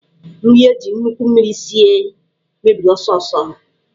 Nri eji nnukwu mmiri sie mebiri ọsọ ọsọ.